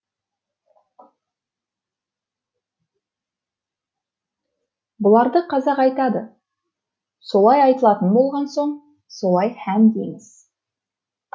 бұларды қазақ айтады солай айтылатын болған соң солай һәм дейміз